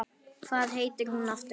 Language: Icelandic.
Hvað heitir hann aftur?